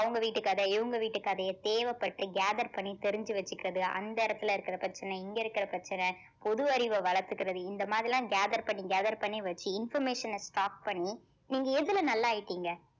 அவங்க வீட்டு கதை இவங்க வீட்டு கதைய தேவைப்பட்டு gather பண்ணி தெரிஞ்சு வச்சுக்கிறது அந்த இடத்துல இருக்கிற பிரச்சனை இங்க இருக்கிற பிரச்சனை பொது அறிவ வளர்த்துக்கிறது இந்த மாதிரில்லாம் gather பண்ணி gather பண்ணி வச்சு information அ stop பண்ணி நீங்க எதுல நல்லா ஆயிட்டீங்க